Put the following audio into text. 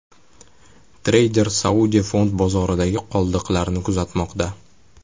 Treyder Saudiya fond bozoridagi qoldiqlarni kuzatmoqda.